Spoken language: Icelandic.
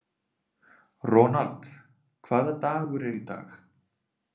Ronald, hvaða dagur er í dag?